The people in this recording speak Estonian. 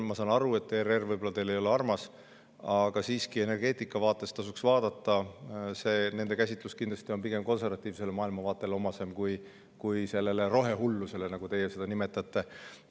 Ma saan aru, et ERR võib-olla ei ole teile armas, aga energeetikavaates siiski tasuks seda vaadata, nende käsitlus on kindlasti omasem pigem konservatiivsele maailmavaatele kui rohehullusele, nagu teie seda nimetate.